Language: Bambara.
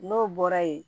N'o bɔra yen